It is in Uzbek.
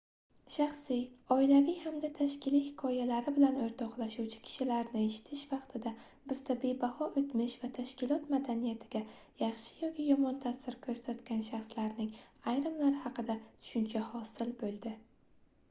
shaxsiy oilaviy hamda tashkiliy hikoyalari bilan oʻrtoqlashuvchi kishilarni eshitish vaqtida bizda bebaho oʻtmish va tashkilot madaniyatiga yaxshi yoki yomon taʼsir koʻrsatgan shaxslarning ayrimlari haqida tushuncha hosil boʻldi